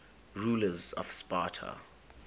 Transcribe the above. rulers of sparta